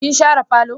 Kin share falo?